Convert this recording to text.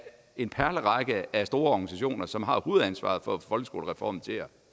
en perlerække af store organisationer som har hovedansvaret for at få folkeskolereformen til at